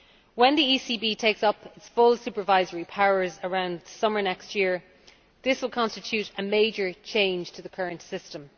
When the ECB takes up its full supervisory powers around summer next year, this will constitute a major change to the current system.